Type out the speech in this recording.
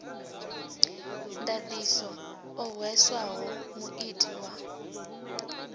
ndaṱiso o hweswaho muiti wa